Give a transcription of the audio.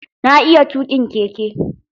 Na iya tuƙin keke.